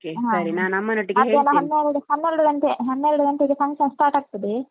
ಮಧ್ಯಾಹ್ನ ಹನ್ನೆರಡು ಹನ್ನೆರಡು ಗಂಟೆ ಹನ್ನೆರಡು ಗಂಟೆಗೆ function start ಆಗ್ತದೆ.